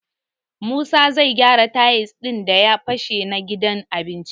Musa zai gyara tayil ɗin da ya fashe na gidan abincin.